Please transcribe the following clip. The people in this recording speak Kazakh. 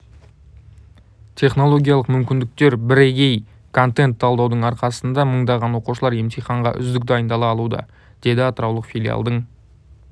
технологиялық мүмкіндіктер бірегей контент талдаудың арқасында мыңдаған оқушылар емтиханға үздік дайындала алуда деді атыраулық филиалдың